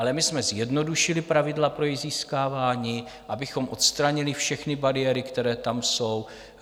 Ale my jsme zjednodušili pravidla pro její získávání, abychom odstranili všechny bariéry, které tam jsou.